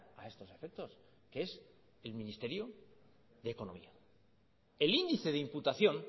a estos efectos que es el ministerio de economía el índice de imputación